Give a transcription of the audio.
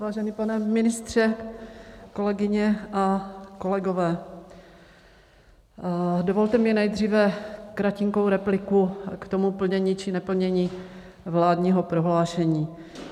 Vážený pane ministře, kolegyně a kolegové, dovolte mi nejdříve kratinkou repliku k tomu plnění či neplnění vládního prohlášení.